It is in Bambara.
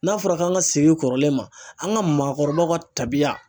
N'a fɔra k'an ka segi kɔrɔlen ma an ka maakɔrɔw ka tabiya.